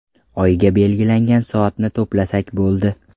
Oyiga belgilangan soatni to‘plasak bo‘ldi.